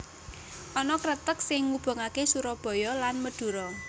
Ana kreteg sing ngubungake Surabaya lan Medura